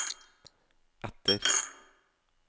E T T E R